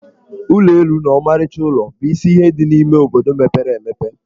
Ụlọ elu na ọmarịcha ụlọ bụ isi ihe dị n'ime obodo mepere emepe.